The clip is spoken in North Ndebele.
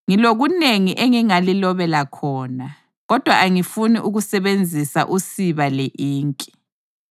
Ngilokunengi engingalilobela khona, kodwa angifuni ukusebenzisa usiba le-inki.